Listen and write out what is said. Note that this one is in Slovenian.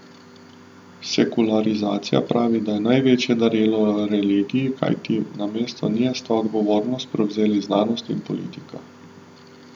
Sekularizacija, pravi, je največjo darilo religiji, kajti namesto nje sta odgovornost prevzeli znanost in politika.